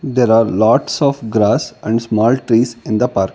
there are lots of grass and small trees in the park.